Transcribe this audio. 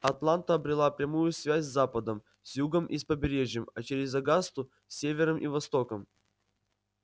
атланта обрела прямую связь с западом с югом и с побережьем а через огасту с севером и востоком